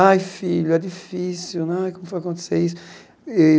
Ai, filho, é difícil, ai como foi acontecer isso?